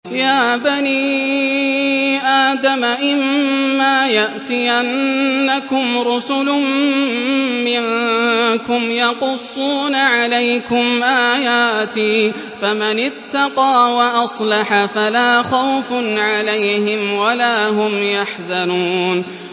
يَا بَنِي آدَمَ إِمَّا يَأْتِيَنَّكُمْ رُسُلٌ مِّنكُمْ يَقُصُّونَ عَلَيْكُمْ آيَاتِي ۙ فَمَنِ اتَّقَىٰ وَأَصْلَحَ فَلَا خَوْفٌ عَلَيْهِمْ وَلَا هُمْ يَحْزَنُونَ